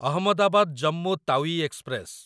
Ahmedabad Jammu Tawi express